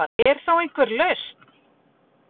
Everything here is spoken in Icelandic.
Er þá einhver lausn